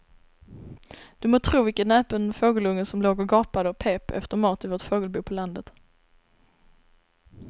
Du må tro vilken näpen fågelunge som låg och gapade och pep efter mat i vårt fågelbo på landet.